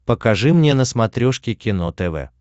покажи мне на смотрешке кино тв